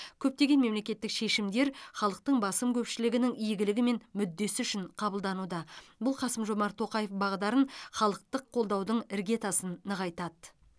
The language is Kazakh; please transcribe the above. көптеген мемлекеттік шешімдер халықтың басым көпшілігінің игілігі мен мүддесі үшін қабылдануда бұл қасым жомарт тоқаев бағдарын халықтық қолдаудың іргетасын нығайтады